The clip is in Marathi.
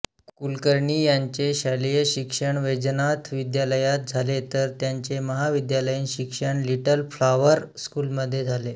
कुलकर्णी यांचे शालेय शिक्षण वैजनाथ विद्यालयात झाले तर त्यांचे महाविद्यालयीन शिक्षण लिट्ल फ्लॉवर स्कूलमध्ये झाले